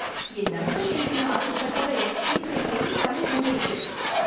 என் நண்பன் எழுதுனா ஆய்வுக் கட்டுரை, இன்றைய செய்தித்தாளில் வந்து இருக்கு